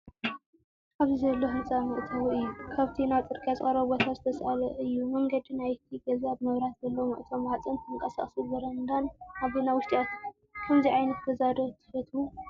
ኣብዚ ዘሎ ህንጻ መእተዊ እዩ። ካብቲ ናብ ጽርግያ ዝቐረበ ቦታ ዝተሳእለ እዩ። መንገዲ ናይቲ ገዛ ብመብራህቲ ዘለዎ መእተዊ ማዕጾን ተንቀሳቓሲ በረንዳን ኣቢሉ ናብ ውሽጢ ይኣቱ። ከምዚ ዓይነት ገዛ ዶ ትፈትው?